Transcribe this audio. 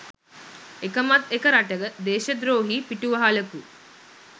එකමත් එක රටක දේශද්‍රෝහී පිටුවහලකු